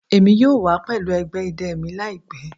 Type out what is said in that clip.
Emi yoo wa pẹlu ẹgbẹ idẹ mi laipẹ